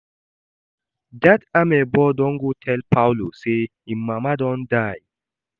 Dat amebo don go tell Paulo say im mama don die